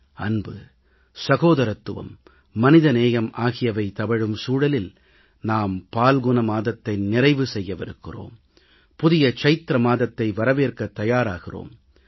அன்பு சகோதரத்துவம் மனித நேயம் ஆகியவை தவழும் சூழலில் நாம் பங்குனி மாதத்தை நிறைவு செய்யவிருக்கிறோம் புதிய சித்திரை மாதத்தை வரவேற்க தயாராகிறோம்